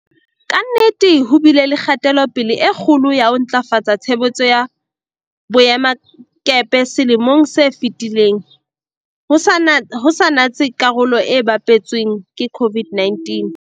Ka nnete ho bile le kgatelo-pele e kgolo ya ho ntlafatsa tshebetso ya boemakepe selemong se fetileng, ho sa natse karolo e bapetsweng ke COVID-19.